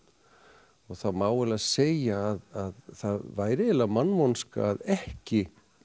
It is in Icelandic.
og það má eiginlega segja að það væri eiginlega mannvonska að ekki